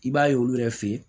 I b'a ye olu yɛrɛ fe yen